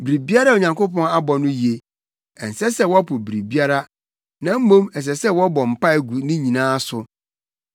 Biribiara a Onyankopɔn abɔ no ye. Ɛnsɛ sɛ wɔpo biribiara, na mmom ɛsɛ sɛ wɔbɔ mpae gu ne nyinaa so.